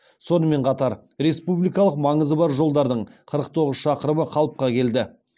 сонымен қатар республикалық маңызы бар жолдардың қырық тоғыз шақырымы қалыпқа келді